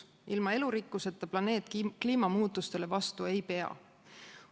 Ilma elurikkuseta planeet kliimamuutustele vastu ei pea.